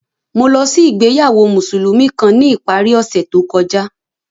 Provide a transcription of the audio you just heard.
Mo lọ si ìgbéyàwó Musulumi kan ni ipari ọsẹ to kọja.